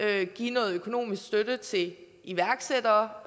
at give noget økonomisk støtte til iværksættere